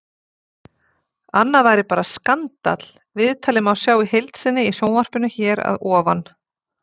Annað væri bara skandall Viðtalið má sjá í heild sinni í sjónvarpinu hér að ofan.